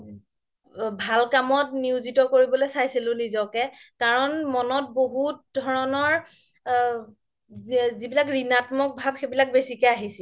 ভাল কামত নিউজিত কৰিবলৈ চাইছিলো নিজকে কাৰন মনত বহুত ধৰণৰ আ যি বিলাক ঋণাত্মক ভাব সেইবিলাক বেচিকে আহিছিল